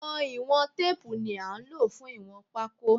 Àwọn ìwọ̀n teepu ní án ló fún ìwọ̀n pako